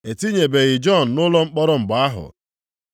E tinyebeghị Jọn nʼụlọ mkpọrọ mgbe ahụ.